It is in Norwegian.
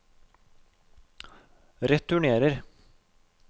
returnerer